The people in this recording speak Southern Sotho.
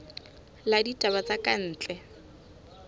la ditaba tsa ka ntle